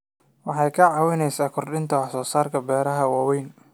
Waxay ka caawisaa kordhinta wax soo saarka beeraha waaweyn.